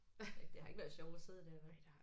Det har ikke været sjovt at sidde der vel